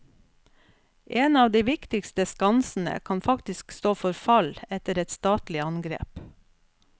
En av de viktigste skansene kan faktisk stå for fall etter et statlig angrep.